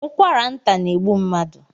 Ụkwara nta na-egbu mmadụ